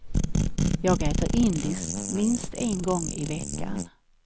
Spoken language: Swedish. Jag äter indiskt minst en gång i veckan.